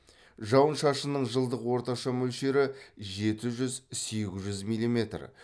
жауын шашынның жылдық орташа мөлшері жеті жүз сегіз жүз миллиметр